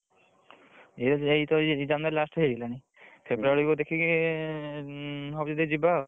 ଏଇ ତ ଯାଇ January last କୁ ହେଇଗଲାଣି। February କୁ ଦେଖିକି ହବ ଯଦି ଯିବା ଆଉ।